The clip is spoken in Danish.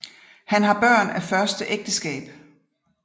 Han har Børn af første Ægteskab